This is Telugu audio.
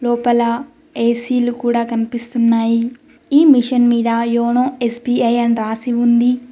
లోపల ఏ_సీ లు కూడా కనిపిస్తున్నాయి ఈ మిషన్ మీద యోనో ఎ_స్బి_ఐ అని రాసి ఉంది.